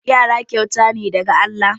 Yara kyauta ne daga Allah.